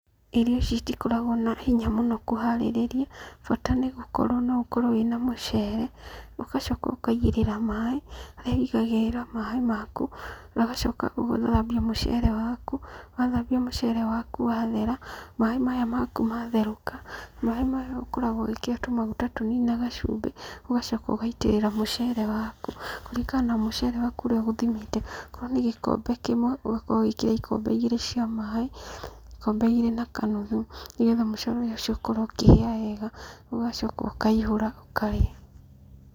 Irio ici itikoragwo na hinya mũno kũharĩrĩria, bata nogũkorwo ũkorwo wĩna mũcere, ũgacoka ũkaigĩrĩra maĩ, harĩa ũigagĩrĩra maĩ maku. Ũgacoka ũgathambia mũcere waku. Wathambia mũcere waku wathera, maaĩ maya maku matherũka, maaĩ maya ũkorwo ũmekĩre tũmaguta tũnini na gacumbĩ, ũgacoka ũgaitĩrĩra mũcere waku. Kũringana na mũcere waku ũrĩa ũgũthimĩte. Okorwo nĩ gĩkombe kĩmwe, ũgakorwo ũgĩkĩra ikombe igĩrĩ cia maĩ, ikombe igĩrĩ na kanuthu. Nĩgetha mũcere ũcio ũkorwo ũkĩhĩa wega. Ũgacoka ũkaihũra ũkarĩa.